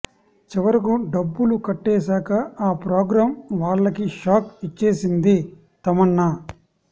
చివరకు డబ్బులు కట్టేశాక ఆ ప్రోగ్రాం వాళ్లకి షాక్ ఇచ్చేసింది తమన్నా